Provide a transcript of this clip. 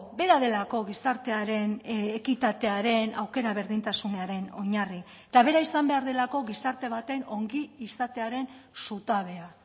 bera delako gizartearen ekitatearen aukera berdintasunaren oinarri eta bera izan behar delako gizarte baten ongizatearen zutabea